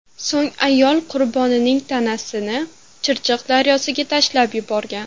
So‘ng ayol qurbonning tanasini Chirchiq daryosiga tashlab yuborgan.